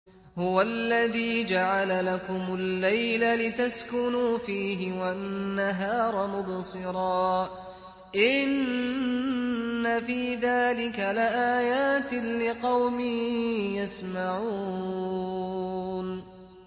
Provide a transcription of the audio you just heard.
هُوَ الَّذِي جَعَلَ لَكُمُ اللَّيْلَ لِتَسْكُنُوا فِيهِ وَالنَّهَارَ مُبْصِرًا ۚ إِنَّ فِي ذَٰلِكَ لَآيَاتٍ لِّقَوْمٍ يَسْمَعُونَ